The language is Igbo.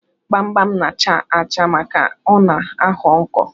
Gbamgbam na-achà achà maka ọ na-aghọ nkọ.